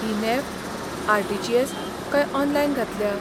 ही NEFT, RTGS. काय online घातल्या?